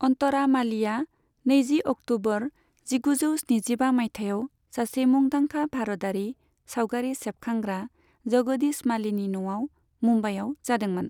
अन्तरा मालीआ नैजि अक्ट'बर जिगुजौ स्निजिबा मायथाइयाव सासे मुंदांखा भारतारि सावगारि सेबखांग्रा जगदीश मालीनि न'आव मुम्बाइयाव जादोंमोन।